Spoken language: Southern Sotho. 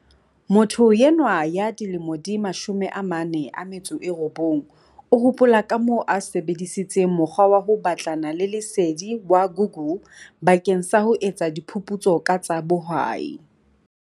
Motho enwa ya dilemo di 49 o hopola kamoo a sebe disitseng mokgwa wa ho batlana le lesedi wa Google bakeng sa ho etsa diphu putso ka tsa bohwai.